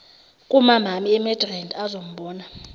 kumamami emidrand azombona